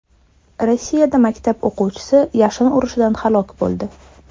Rossiyada maktab o‘quvchisi yashin urishidan halok bo‘ldi.